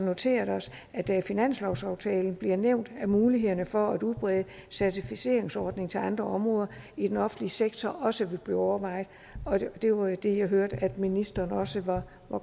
noteret os at det i finanslovsaftalen bliver nævnt at mulighederne for at udbrede certificeringsordningen til andre områder i den offentlige sektor også vil blive overvejet og det var jo det jeg hørte at ministeren også var